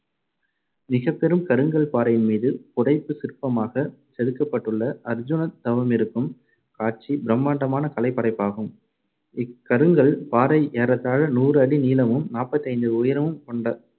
மிகப்பெரும் கருங்கல் பாறையின் மீது புடைப்புச் சிற்பமாகச் செதுக்கப்பட்டுள்ள அர்ஜுனன் தவமிருக்கும் காட்சி பிரமாண்டமான கலைப் படைப்பாகும். இக்கருங்கல் பாறை ஏறத்தாழ நூறு அடி நீளமும் நாற்பத்தைந்து உயரமும் கொண்ட~